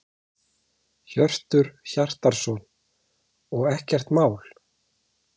Hjörtur Hjartarson: Og ekkert mál?